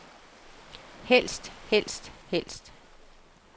helst helst helst